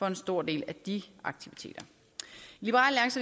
en stor del af de aktiviteter